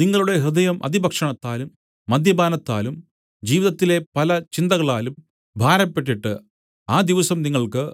നിങ്ങളുടെ ഹൃദയം അതിഭക്ഷണത്താലും മദ്യപാനത്താലും ജീവിതത്തിലെ പല ചിന്തകളാലും ഭാരപ്പെട്ടിട്ട് ആ ദിവസം നിങ്ങൾക്ക്